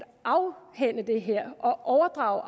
afhænde det her og overdrage